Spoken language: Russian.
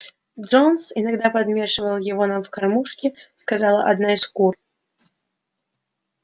джонс иногда подмешивал его нам в кормушки сказала одна из кур